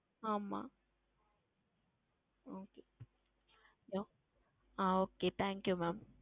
ஆமாம் Okay ஆஹ் OkayThank YouMam